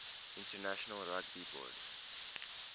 international rugby board